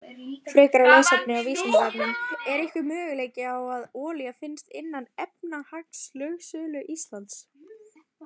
Frekara lesefni af Vísindavefnum: Er einhver möguleiki á að olía finnist innan efnahagslögsögu Íslands?